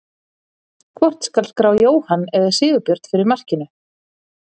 Hvort skal skrá Jóhann eða Sigurbjörn fyrir markinu?